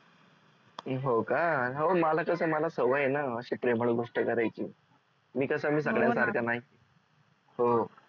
हो का हो मला कस मला सवय आहे न अशी प्रेमळ गोष्ट करायची मी कस मी सगळ्यांसारखा नाही हो